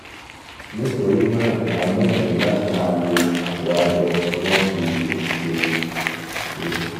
nítorí náà máa gbìyànjú láti máa lo aṣọ abẹ tí wọ́n fi òwú ṣe ṣe